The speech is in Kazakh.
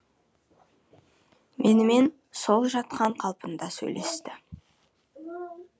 менімен сол жатқан қалпында сөйлесті